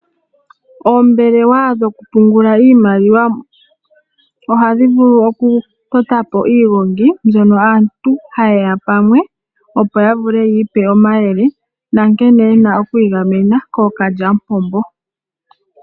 Oombelewa dhoku pungula iimaliwa, ohadhi vulu oku totapi iihongi mbyoka aantu ha yeya pamwe opo yiipe omayele, na nkene yena okwiigamena kookalyamupombo.